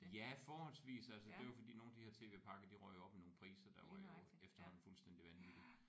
Ja forholdsvis altså det var jo fordi nogle af de her tv-pakker de røg jo op i nogle priser der var jo efterhånden fuldstændig vanvittige